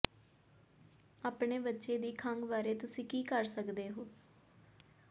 ਆਪਣੇ ਬੱਚੇ ਦੇ ਖੰਘ ਬਾਰੇ ਤੁਸੀਂ ਕੀ ਕਰ ਸਕਦੇ ਹੋ